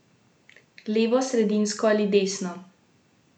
Levo, sredinsko ali desno?